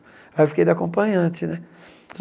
Aí eu fiquei de acompanhante né.